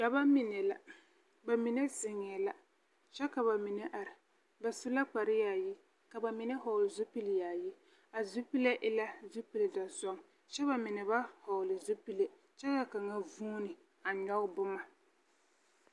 Dͻbͻ mine la, ba mine zeŋԑԑ la kyԑ ka ba mine are. Ba su la kpare yaayi ka ba mine vͻͻle zupili yaayi. A zupile e la zupili dͻzͻŋ kyԑ ba mine ba vͻͻle zupile kyԑ ka kaŋa a vuuni a nyͻge boma.